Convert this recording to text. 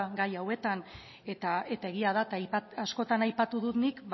gai hauetan eta egia da eta askotan aipatu dut nik